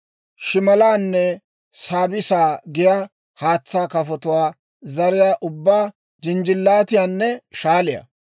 shimalaanne saabiissaa giyaa haatsaa kafotuwaa zariyaa ubbaa, jinjjilaatiyaanne shaaliyaa.